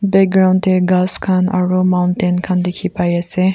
background dae khass khan aro mountain khan di ki pai asae.